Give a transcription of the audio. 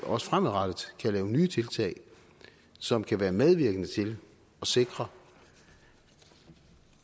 også fremadrettet kan lave nye tiltag som kan være medvirkende til at sikre